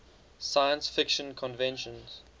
science fiction conventions